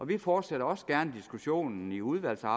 vi fortsætter også gerne diskussionen i udvalget